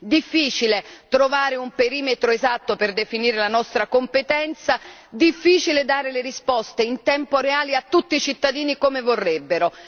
Difficile trovare un perimetro esatto per definire la nostra competenza, difficile dare le risposte in tempo reale a tutti i cittadini, come vorrebbero.